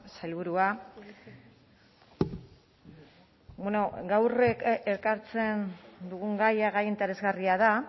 sailburua bueno gaur ekartzen dugun gaia gai interesgarria da